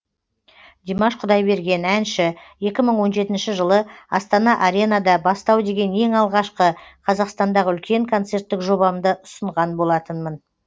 димаш құдайберген әнші екі мың он жетінші жылы астана аренада бастау деген ең алғашқы қазақстандағы үлкен концерттік жобамды ұсынған болатынмын